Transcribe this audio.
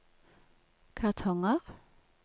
kartonger